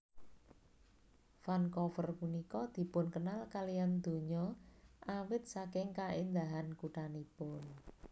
Vancouver punika dipunkenal kaliyan donya awit saking kaendahan kuthanipun